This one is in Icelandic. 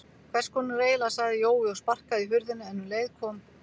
Hvess konar eiginlega sagði Jói og sparkaði í hurðina en um leið kom